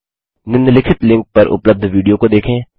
निम्नलिखित लिंक पर उपलब्ध विडियो को देखें